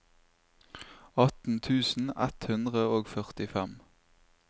atten tusen ett hundre og førtifem